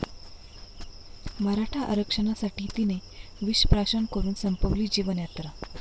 मराठा आरक्षणासाठी तिने विषप्राशन करून संपविली जीवनयात्रा